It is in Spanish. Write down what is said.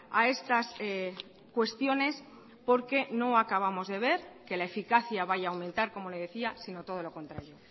a estas cuestiones porque no acabamos de ver que la eficacia vaya a aumentar como le decía sino todo lo contrario